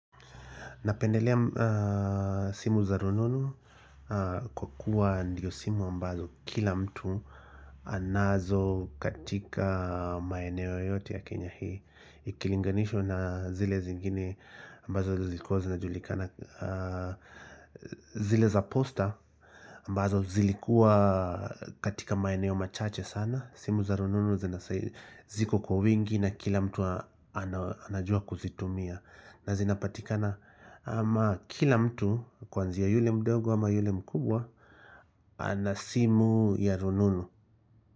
Napendelea simu za rununu kwa kuwa ndiyo simu ambazo kila mtu anazo katika maeneo yote ya Kenya hii Ikilinganisho na zile zingine ambazo zilikuwa zinajulikana zile za poster ambazo zilikuwa katika maeneo machache sana simu za rununu zinasai ziko kwa wingi na kila mtu anajua kuzitumia na zinapatikana ama kila mtu kwanzia ya yule mdogo ama yule mkubwa ana simu ya rununu.